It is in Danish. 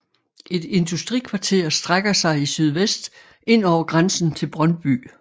Et industrikvarter strækker sig i sydvest ind over grænsen til Brøndby